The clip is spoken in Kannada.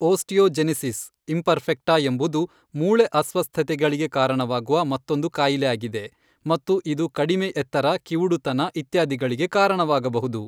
ಓಸ್ಟೆಒಜಿನೆಸಿಸ್ ಇಂಪೆರ್ಫೆಕ್ಟಾ ಎಂಬುದು ಮೂಳೆ ಅಸ್ವಸ್ಥತೆಗಳಿಗೆ ಕಾರಣವಾಗುವ ಮತ್ತೊಂದು ಕಾಯಿಲೆ ಆಗಿದೆ ಮತ್ತು ಇದು ಕಡಿಮೆ ಎತ್ತರ ಕಿವುಡುತನ ಇತ್ಯಾದಿಗಳಿಗೆ ಕಾರಣವಾಗಬಹುದು.